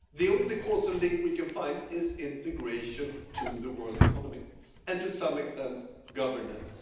The only causal link we can find is with integration into the world economy and, to some extent, with governance.